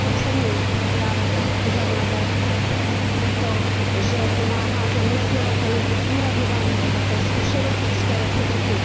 Já oceňuji program záruky za mladé, právě proto, že pomáhá zaměstnavatelům otvírat nová místa, to je zkušenost České republiky.